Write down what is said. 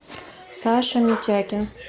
саша митякин